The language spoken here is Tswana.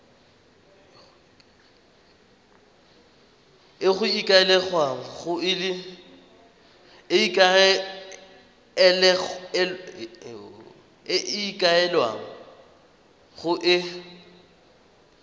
e go ikaelelwang go e